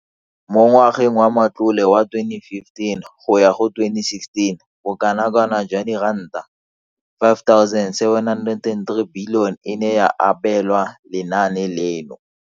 Mo ngwageng wa matlole wa 2015,16, bokanaka R5 703 bilione e ne ya abelwa lenaane leno.